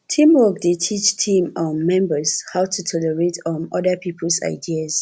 teamwork dey teach team um members how to tolerate um other peoples ideas